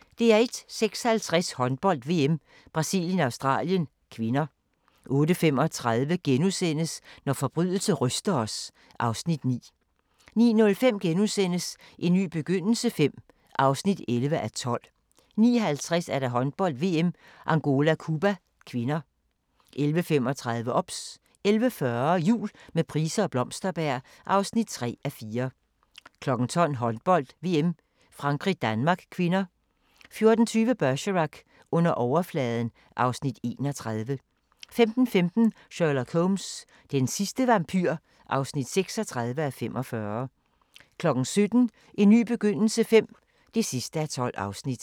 06:50: Håndbold: VM - Brasilien-Australien (k) 08:35: Når forbrydelse ryster os (Afs. 9)* 09:05: En ny begyndelse V (11:12)* 09:50: Håndbold: VM - Angola-Cuba (k) 11:35: OBS 11:40: Jul med Price og Blomsterberg (3:4) 12:00: Håndbold: VM - Frankrig-Danmark (k) 14:20: Bergerac: Under overfladen (Afs. 31) 15:15: Sherlock Holmes: Den sidste vampyr (36:45) 17:00: En ny begyndelse V (12:12)